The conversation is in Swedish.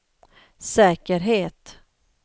säkerhet